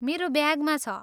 मेरो ब्यागमा छ।